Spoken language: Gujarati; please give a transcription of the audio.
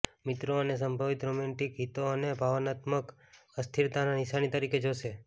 મિત્રો અને સંભવિત રોમેન્ટિક હિતો આને ભાવનાત્મક અસ્થિરતાના નિશાની તરીકે જોશે